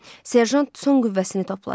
Serjant son qüvvəsini topladı.